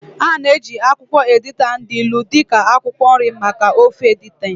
A na-eji akwụkwọ editan dị ilu dị ka akwụkwọ nri maka ofe editan